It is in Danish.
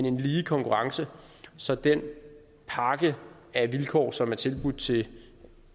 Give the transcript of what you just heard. en lige konkurrence så den pakke af vilkår som er tilbudt til